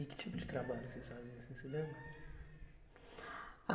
E que tipo de trabalho que vocês faziam, você se lembra? Ah